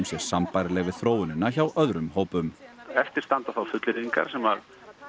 sé sambærileg við þróunina hjá öðrum hópum eftir standa þá fullyrðingar sem